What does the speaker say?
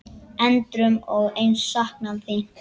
Endrum og eins saknað þín.